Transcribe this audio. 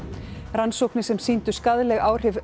rannsóknir sem sýndu skaðleg áhrif